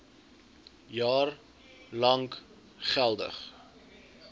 jaar lank geldig